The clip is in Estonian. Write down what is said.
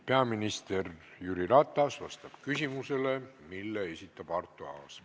Peaminister Jüri Ratas vastab küsimusele, mille esitab Arto Aas.